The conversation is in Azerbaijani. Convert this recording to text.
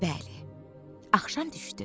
Bəli, axşam düşdü.